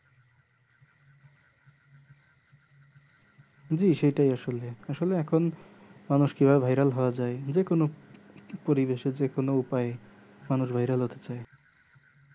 জি সেটাই আসলে আসলে এখন মানুষ কি ভাবে viral হও আ যাই যে কোনো পরিবেশে যেকোনো উপায়ে মানুষ viral হতে চাই